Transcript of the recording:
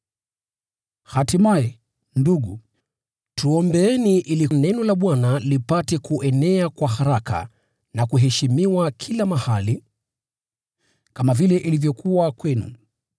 Hatimaye, ndugu, tuombeeni ili Neno la Bwana lipate kuenea kwa haraka na kuheshimiwa kila mahali, kama vile ilivyokuwa kwenu.